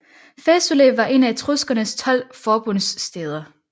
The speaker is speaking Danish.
Fæsulæ var en af Etruskernes 12 forbundsstæder